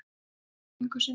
Hann hélt virðingu sinni.